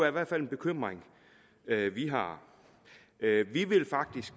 i hvert fald en bekymring vi har vi vil faktisk